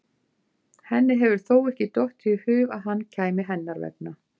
Henni hefur þó ekki dottið í hug að hann kæmi hennar vegna?